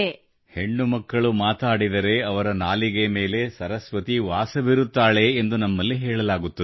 ಹೆಣ್ಣು ಮಕ್ಕಳು ಮಾತಾಡಿದರೆ ಅವಳ ನಾಲಿಗೆ ಮೇಲೆ ಸರಸ್ವತಿ ವಾಸವಿರುತ್ತಾಳೆ ಎಂದು ನಮ್ಮಲ್ಲಿ ಹೇಳಲಾಗುತ್ತದೆ